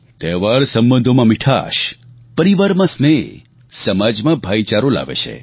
તહેવાર સંબંધોમાં મિઠાશ પરિવારમાં સ્નેહ સમાજમાં ભાઈચારો લાવે છે